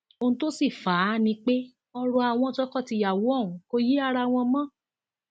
ohun tó sì fà á ni pé ọrọ àwọn tọkọtìyàwó ọhún kò yé ara wọn mọ